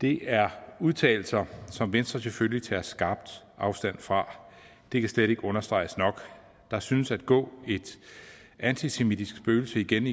det er udtalelser som venstre selvfølgelig tager skarpt afstand fra det kan slet ikke understreges nok der synes at gå et antisemitisk spøgelse igennem